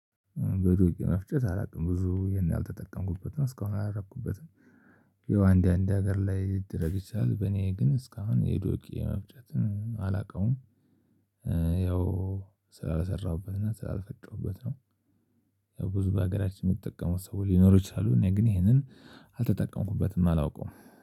ዱቄት መፍጨት አላውቅም ብዙ ይሄን ያልተጠቀምኩበት ነው እስካሁን አላረኩበትም። ያው አንድ አንድ ሀገር ላይ ይደረግ ይችላል በኔ ግን እስካሁን የዶቄ መፍጨትን አላውቀውም። ያው ስላልሰራሁበትና ስላልፈጠሩበት ነው። ብዙ በሀገራችን የምትጠቀመው ሰው ሊኖሩ ይችላሉ። እኔ ግን ይሄንን አልተጠቀምኩበትም አላውቀውም